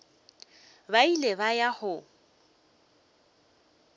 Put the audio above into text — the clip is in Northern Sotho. ba ile ba ya go